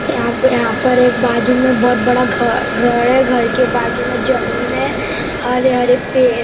यहां पे यहां पर एक बाजू में बहुत बड़ा घ घर है घर के बाजू में जमीन है हरे हरे पे--